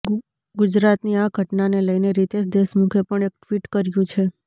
ગુજરાતની આ ઘટનાને લઈને રિતેશ દેશમુખે પણ એક ટ્વીટ કર્યું છે